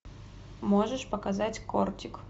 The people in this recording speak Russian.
можешь показать кортик